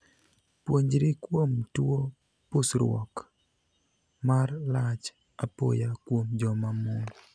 Puonjri kuom tuo pusruok (ndong') mar lach apoya kuom joma mon.